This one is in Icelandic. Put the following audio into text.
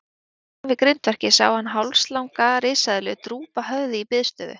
Handan við grindverkið sá hann hálslanga risaeðlu drúpa höfði í biðstöðu.